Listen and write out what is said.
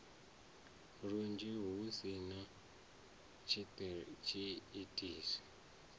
lunzhi hu si na tshiitisi